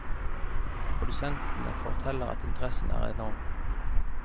Produsentene forteller at interessen er enorm.